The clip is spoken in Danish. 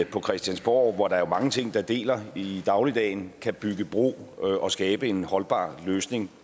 på christiansborg hvor der jo er mange ting der deler i dagligdagen kan bygge bro og skabe en holdbar løsning